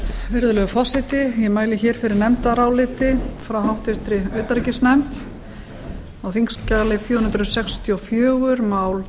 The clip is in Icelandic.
virðulegi forseti ég mæli hér fyrir nefndaráliti frá háttvirtri utanríkisnefnd á þingskjali fjögur hundruð sextíu og fjögur mál